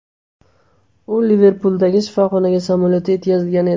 U Liverpuldagi shifoxonaga samolyotda yetkazilgan edi.